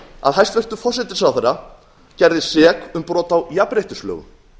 að hæstvirtur forsætisráðherra gerðist sek um brot á jafnréttislögum